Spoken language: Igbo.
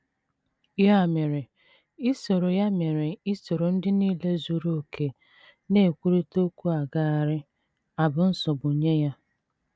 Ya mere isoro Ya mere isoro ndị nile zuru okè na - ekwurịta okwu agaraghị abụ nsogbu nye ya.